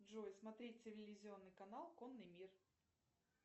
джой смотреть телевизионный канал конный мир